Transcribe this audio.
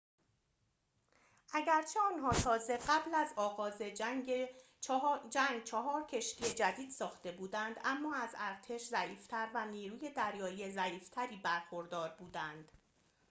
اگرچه آنها تازه قبل از آغاز جنگ چهار کشتی جدید ساخته بودند اما از ارتش ضعیف تر و نیروی دریایی ضعیف تری برخوردار بودند